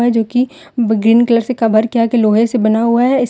जोकि green colour से cover किया लोहे से बना हुआ हैं।